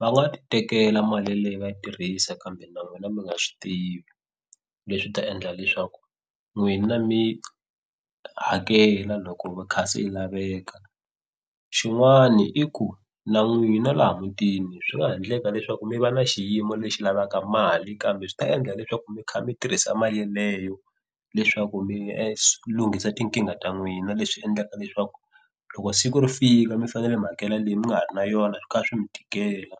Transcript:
va nga titekela mali leyi va tirhisa kambe na n'wina mi nga swi tivi. Leswi swi ta endla leswaku n'wina mi hakela loko kha se yi laveka. Xin'wana i ku na n'wina laha mutini swi nga ha endleka leswaku mi va na xiyimo lexi lavaka mali kambe swi ta endla leswaku mi kha mi tirhisa mali leyo leswaku mi lunghisa tinkingha ta n'wina leswi endlaka leswaku loko siku ri fika mi fanele mi hakela leyi mi nga ha ri na yona swo kha swi mi tikela.